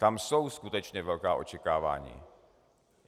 Tam jsou skutečně velká očekávání.